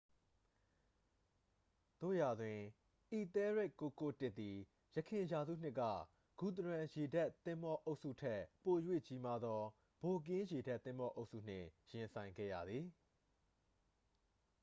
သို့ရာတွင် အီသဲလ်ရက်ဒ်991သည် ယခင်ရာစုနှစ်က ဂူသရန်ရေတပ်သင်္ဘောအုပ်စုထက် ပို၍ကြီးမားသော ဗိုက်ကင်းရေတပ်သင်္ဘောအုပ်စုနှင့် ရင်ဆိုင်ခဲ့ရသည်